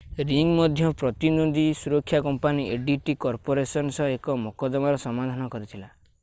ring ମଧ୍ୟ ପ୍ରତିଦ୍ୱନ୍ଦୀ ସୁରକ୍ଷା କମ୍ପାନୀ adt କର୍ପୋରେସନ ସହ ଏକ ମକଦ୍ଦମାର ସମାଧାନ କରିଥିଲା